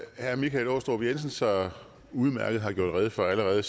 herre michael aastrup jensen så udmærket har gjort rede for allerede